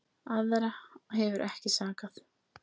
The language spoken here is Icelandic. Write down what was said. Aðra hefur ekki sakað